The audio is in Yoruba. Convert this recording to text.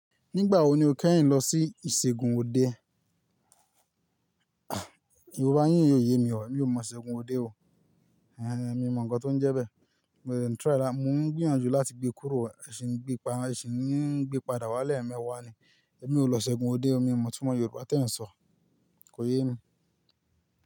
Nígbà wo ni o kẹ́yìn lọ sí ìṣègùn òde? Yorùbá yín ò yé mi ọ, mi ò mọ ìṣègùn òde o. Ehen, mi mọ̀ nǹkan tó ń jẹ bẹ́ẹ̀, mo de n try, mò ń gbìyànjú láti gbé kúrò, e ṣìn gbẹ́ padà, eṣìń n gbé padà wálẹ̀ ẹ́ mẹ́wàá ni. Ẹ̀mí ò lọ ìṣègùn òde, ẹ̀mí ò mọ̀ túnmọ̀ Yorùbá tí ẹ ń sọ, kò yé mi.